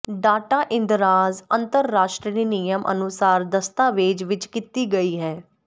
data ਇੰਦਰਾਜ਼ ਅੰਤਰਰਾਸ਼ਟਰੀ ਨਿਯਮ ਅਨੁਸਾਰ ਦਸਤਾਵੇਜ਼ ਵਿੱਚ ਕੀਤੀ ਗਈ ਹੈ